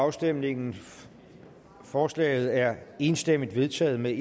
afstemningen forslaget er enstemmigt vedtaget med